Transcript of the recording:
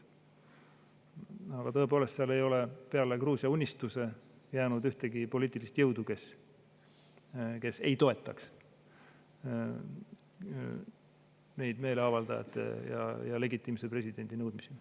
Aga tõepoolest, seal ei ole peale Gruusia Unistuse jäänud ühtegi poliitilist jõudu, kes ei toetaks meeleavaldajate ja legitiimse presidendi nõudmisi.